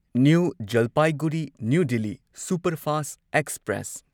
new Jalpaiguri new superfast express